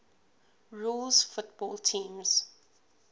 rules football teams